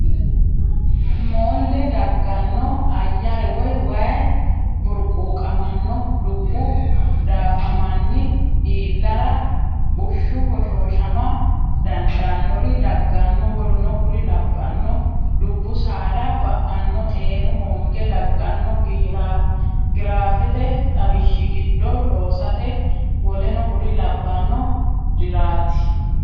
Moolle dagganno Ayyare woy way burquuqamanno Dubbu daafamanni iillara Bushshu hoshooshama dandaannori daganno w k l Dubbu saada ba anno Xeenu hoonge dagganno giraafete xawishshi giddo loosate w k l riraati.